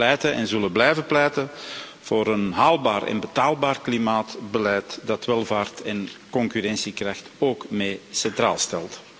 Wij pleiten en zullen blijven pleiten voor een haalbaar en betaalbaar klimaatbeleid dat welvaart en concurrentiekracht ook mee centraal stelt.